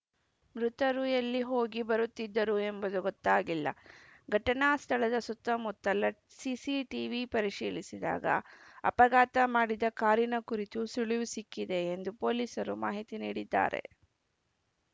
ಮೃತರು ಎಲ್ಲಿ ಹೋಗಿ ಬರುತ್ತಿದ್ದರು ಎಂಬುದು ಗೊತ್ತಾಗಿಲ್ಲ ಘಟನಾ ಸ್ಥಳದ ಸುತ್ತಮುತ್ತಲ ಸಿಸಿಟಿವಿ ಪರಿಶೀಲಿಸಿದಾಗ ಅಪಘಾತ ಮಾಡಿದ ಕಾರಿನ ಕುರಿತು ಸುಳಿವು ಸಿಕ್ಕಿದೆ ಎಂದು ಪೊಲೀಸರು ಮಾಹಿತಿ ನೀಡಿದ್ದಾರೆ